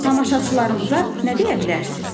Tamaşaçılarımıza nə deyə bilərsiz?